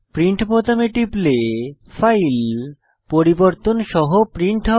print বোতামে টিপলে file পরিবর্তন সহ প্রিন্ট হবে